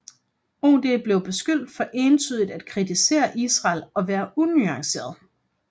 OD blev beskyldt for entydigt at kritisere Israel og være unuanceret